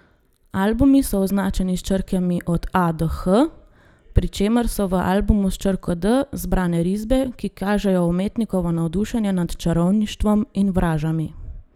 Albumi so označeni s črkami od A do H, pri čemer so v albumu s črko D zbrane risbe, ki kažejo umetnikovo navdušenje nad čarovništvom in vražami.